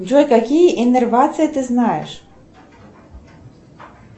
джой какие иннервации ты знаешь